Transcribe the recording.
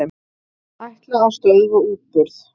Ætla að stöðva útburð